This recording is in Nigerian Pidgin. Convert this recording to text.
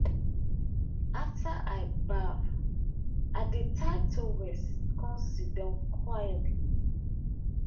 after i baff i dey tie towel come sidon quietly.